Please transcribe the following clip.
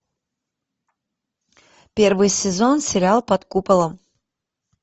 первый сезон сериал под куполом